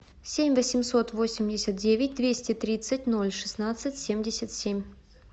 семь восемьсот восемьдесят девять двести тридцать ноль шестнадцать семьдесят семь